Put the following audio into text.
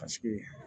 Paseke